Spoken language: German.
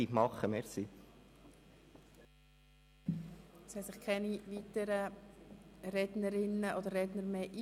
Nun haben sich keine weiteren Rednerinnen oder Redner eingetragen.